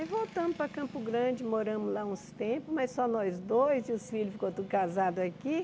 Aí voltamos para Campo Grande, moramos lá uns tempos, mas só nós dois e os filhos ficaram tudo casados aqui.